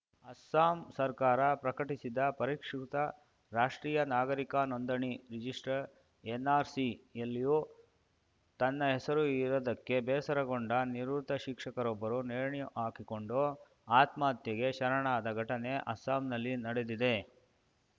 ಅಸ್ಸಾಂ ಸರ್ಕಾರ ಪ್ರಕಟಿಸಿದ ಪರಿಷ್ಕೃತ ರಾಷ್ಟ್ರೀಯ ನಾಗರಿಕ ನೋಂದಣಿ ರಿಜಿಸ್ಟ್ರ ಎನ್‌ಆರ್‌ಸಿ ಯಲ್ಲಿಯೂ ತನ್ನ ಹೆಸರು ಇರದ್ದಕ್ಕೆ ಬೇಸರಗೊಂಡ ನಿವೃತ್ತ ಶಿಕ್ಷಕರೊಬ್ಬರು ನೇಣುಹಾಕಿಕೊಂಡು ಆತ್ಮಹತ್ಯೆಗೆ ಶರಣಾದ ಘಟನೆ ಅಸ್ಸಾಂನಲ್ಲಿ ನಡೆದಿದೆ